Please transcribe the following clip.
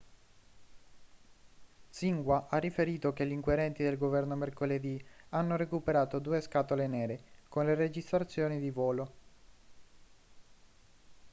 xinhua ha riferito che gli inquirenti del governo mercoledì hanno recuperato due scatole nere' con le registrazioni di volo